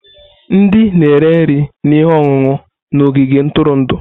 Ndị na-ere nri na ihe ọṅụṅụ na ogige ntụrụndụ.